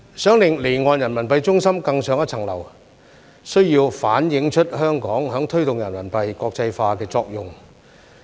想令離岸人民幣中心更上一層樓，需要反映出香港在推動人民幣國際化的作用。